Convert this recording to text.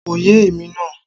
Kò yé èmi náà